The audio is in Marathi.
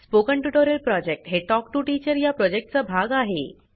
स्पोकन ट्युटोरियल प्रॉजेक्ट हे टॉक टू टीचर या प्रॉजेक्टचा भाग आहे